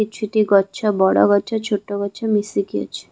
କିଛିଟି ଗଛ ବଡ ଗଛ ଛୋଟ ଗଛ ମିଶିକି ଅଛି ।